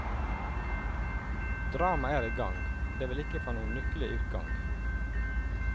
Dramaet er i gang, og det vil ikke få noen lykkelig utgang.